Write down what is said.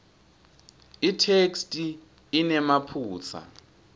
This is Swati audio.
itheksthi inemaphutsa